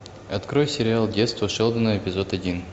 открой сериал детство шелдона эпизод один